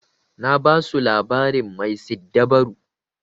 Na basu labarin mai siddabaru.